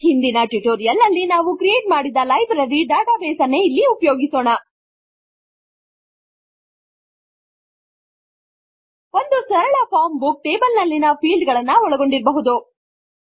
ಹಿಂದಿನ ಟ್ಯುಟೋರಿಯಲ್ ನಲ್ಲಿ ನಾವು ಕ್ರಿಯೇಟ್ ಮಾಡಿದ್ದ ಲೈಬ್ರರಿ ಡಾಟಾ ಬೇಸ್ ಅನ್ನೇ ಇಲ್ಲಿ ಉಪಯೋಗಿಸೋಣ ಒಂದು ಸರಳ ಫಾರ್ಮ್ ಬುಕ್ ಟೇಬಲ್ ನಲ್ಲಿನ ಫೀಲ್ಡ್ ಗಳನ್ನು ಒಳಗೊಂಡಿರಬಹುದು